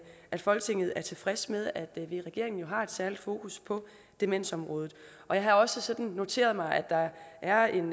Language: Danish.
at folketinget er tilfreds med at vi i regeringen har et særligt fokus på demensområdet og jeg har også sådan noteret mig at der er en